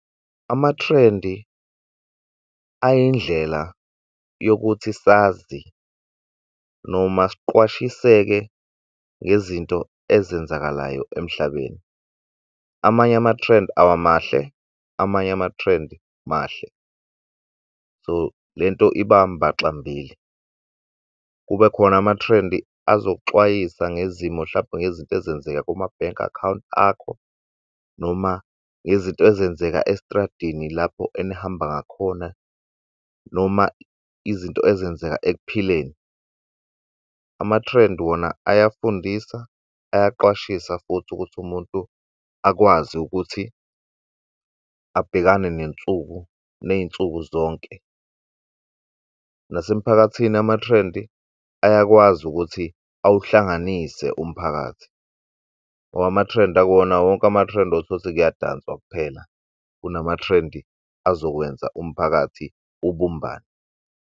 Ama-trend ayindlela yokuthi sazi, noma siqwashiseke ngezinto ezenzakalayo emhlabeni. Amanye ama-trend awamahle, amanye ama-trend mahle, so le nto iba mbaxambili. Kube khona ama-trend azokuxwayisa ngezimo, hlampe ngezinto ezenzeka kuma-bank account akho, noma ngezinto ezenzeka estradini lapho enihamba ngakhona, noma izinto ezenzeka ekuphileni. Ama-trend wona ayafundisa, ayaqwashisa futhi ukuthi umuntu akwazi ukuthi abhekane nensuku, ney'nsuku zonke. Nasemphakathini, ama-trend ayakwazi ukuthi awuhlanganise umphakathi, ngoba ama-trend akuwona wonke ama-trend osesekuyadanswa kuphela, kunama-trend azokwenza umphakathi ubumbane.